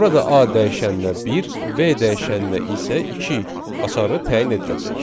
Burada A dəyişəninə bir, B dəyişəninə isə iki açarı təyin ediləcək.